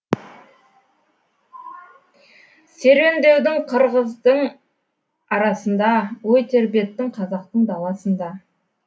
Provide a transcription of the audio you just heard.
серуендедің қырғыздың арасында ой тербеттің қазақтың даласында